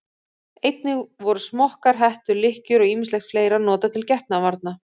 Einnig voru smokkar, hettur, lykkjur og ýmislegt fleira notað til getnaðarvarna.